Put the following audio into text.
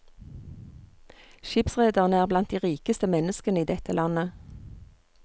Skipsrederne er blant de rikeste menneskene i dette landet.